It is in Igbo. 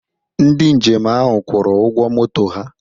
Ndị njem ahụ kwụrụ ụgwọ moto ha.